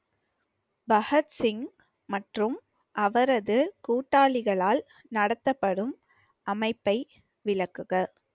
பகத்சிங் மற்றும் அவரது கூட்டாளிகளால் நடத்தப்படும் அமைப்பை விளக்குக